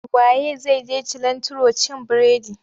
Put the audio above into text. Wa ye zai je cilantro cin bredi?